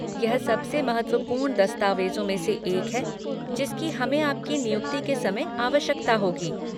यह सबसे महत्वपूर्ण दस्तावेजों में से एक है जिसकी हमें आपकी नियुक्ति के समय आवश्यकता होगी।